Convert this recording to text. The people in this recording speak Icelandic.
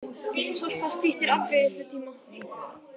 Sorpa styttir afgreiðslutíma